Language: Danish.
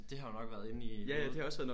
Det har jo nok været inde i hovedet